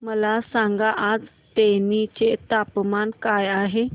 मला सांगा आज तेनी चे तापमान काय आहे